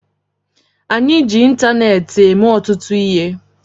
Anyị ji ịntaneetị eme ọtụtụ ihe